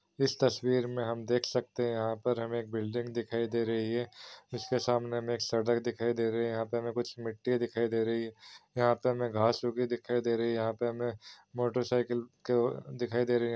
इस तस्वीर हम देख सकते हैं यहाँ पर हमे एक बिलडींग दिखाई दे रही हैं जिसके सामने हमे एक सड़क दिखाई दे रही हैं यहाँ पे हमे कुछ मिट्टी दिखाई दे रही हैं यहाँ पे हमे घाँस टोकरी दिखाई दे रही हैं यहाँ पे हमे मोटर साइकिल दिखाई दे रही हैं।